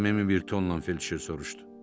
Səmimi bir tonla Felçer soruşdu.